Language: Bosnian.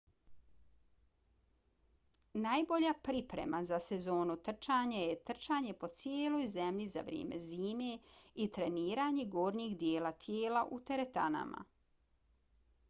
najbolja priprema za sezonu trčanja je trčanje po cijeloj zemlji za vrijeme zime i treniranje gornjeg dijela tijela u teretanama